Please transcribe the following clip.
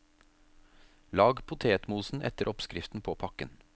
Lag potetmosen etter oppskriften på pakken.